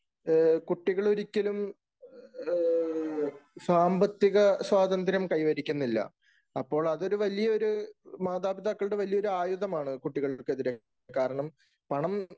കുട്ടികൾ ഒരിക്കലുംസാമ്പത്തിക സ്വാതന്ത്ര്യം കൈവരിക്കുന്നില്ല. അപ്പോൾ അത് വലിയ ഒരു മാതാപിതാക്കളുടെ വലിയ ഒരു ആയുധമാണ് കുട്ടികൾക്കെതിരെ. കാരണം പണം